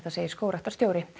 segir skógræktarstjóri